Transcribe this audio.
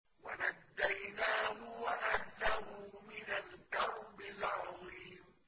وَنَجَّيْنَاهُ وَأَهْلَهُ مِنَ الْكَرْبِ الْعَظِيمِ